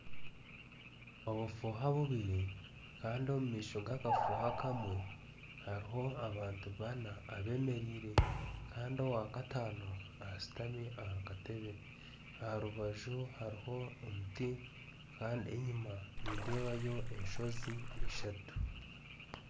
Obufuuha bubiri Kandi omu maisho gakafuuha kamwe hariho abantu bana abemereire Kandi owatakano ashutami aha katebe aha rubaju hariho omuti Kandi enyuma nindeebayo enshozi ishatu